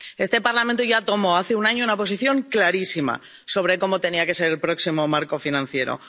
Este Parlamento ya adoptó hace un año una posición clarísima sobre cómo tenía que ser el próximo marco financiero.